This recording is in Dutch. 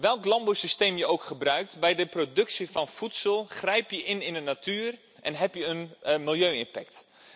Welk landbouwsysteem je ook gebruikt, bij de productie van voedsel grijp je in in de natuur en heb je een milieu impact.